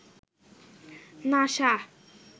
NASA